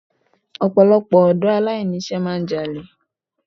Ọ̀pọ̀lọpọ̀ ọ̀dọ́ aláìní iṣẹ́ máà ń jalè.